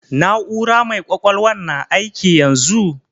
Na'ura mai ƙwaƙwalwan na aiki yanzu?